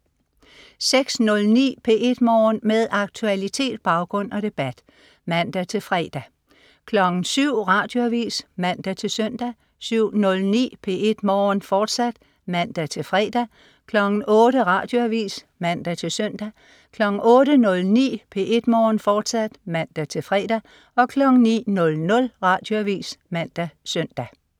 06.09 P1 Morgen. Med aktualitet, baggrund og debat (man-fre) 07.00 Radioavis (man-søn) 07.09 P1 Morgen, fortsat (man-fre) 08.00 Radioavis (man-søn) 08.09 P1 Morgen, fortsat (man-fre) 09.00 Radioavis (man-søn)